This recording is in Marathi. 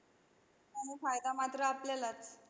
आणि फायदा मात्र आपल्यालाच.